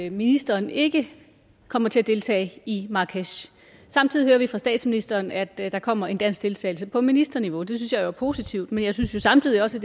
at ministeren ikke kommer til at deltage i marrakech samtidig hører vi fra statsministeren at der kommer en dansk deltagelse på ministerniveau det synes jeg jo er positivt men jeg synes jo samtidig også